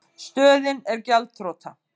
Stöðin er gjaldþrota.